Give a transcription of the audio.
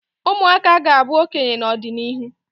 ụmụaka ga-abụ okenye n'ọdịnihu